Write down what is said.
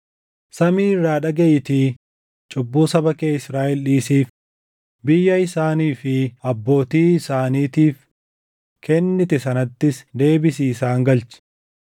samii irraa dhagaʼiitii cubbuu saba kee Israaʼel dhiisiif; biyya isaanii fi abbootii isaaniitiif kennite sanattis deebisii isaan galchi.